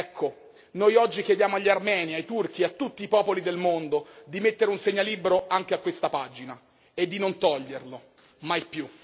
Ecco, noi oggi chiediamo agli armeni, ai turchi, a tutti i popoli del mondo, di mettere un segnalibro anche a questa pagina e di non toglierlo, mai più.